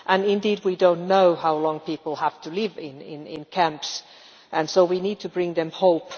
Indeed, we do not know how long people will have to live in camps, and so we need to bring them hope.